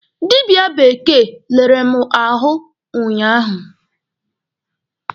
Dịbịa bekee lere mụ ahụ ụnyaahụ.